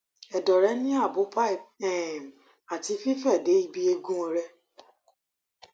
ẹdọ rẹ ni abo pipe um ati fife de ibi eegun rẹ